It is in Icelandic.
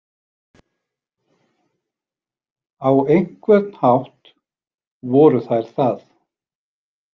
Á einhvern hátt voru þær það.